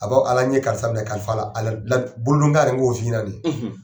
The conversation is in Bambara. A bɔ ala n ye karisa minɛ kalifa bolo n k'o f'i ɲɛna ni ye